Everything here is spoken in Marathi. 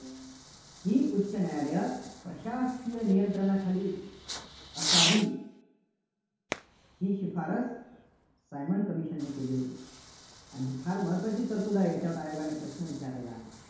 ही उच्च न्यायालयं प्रशासकीय नियंत्रणाखाली असावीत, ही शिफारस सायमन commission ने केली होती. आणि फार महत्त्वाची तरतुद आहे. यावर आयोगाने प्रश्न विचारलेला आहे.